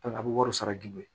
a bɛ wari sara joona